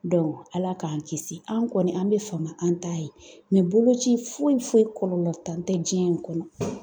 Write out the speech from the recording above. Ala k'an kisi an' kɔni an be fama an t'a ye, nin boloci foyi foyi kɔlɔlɔtan tɛ diɲɛ in kɔnɔ.